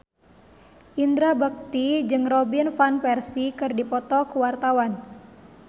Indra Bekti jeung Robin Van Persie keur dipoto ku wartawan